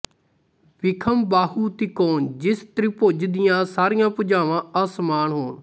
ਵਿਖਮਬਾਹੂ ਤਿਕੋਨ ਜਿਸ ਤ੍ਰਿਭੁਜ ਦੀਆਂ ਸਾਰੀਆਂ ਭੁਜਾਵਾਂ ਅਸਮਾਨ ਹੋਣ